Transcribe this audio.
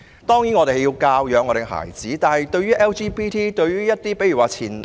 當然，家長要教養孩子，但對於 LGBT 人士......